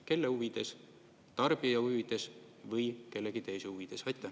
Kelle huvides, tarbija huvides või kellegi teise huvides?